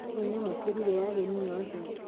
Nĩ nyamũkĩire ageni othe.